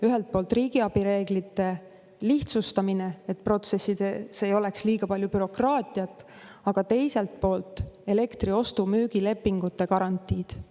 Ühelt poolt riigiabi reeglite lihtsustamine, et protsessides ei oleks liiga palju bürokraatiat, aga teiselt poolt elektri ostu-müügi lepingute garantiid.